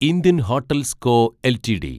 Indian Hotels Co LTD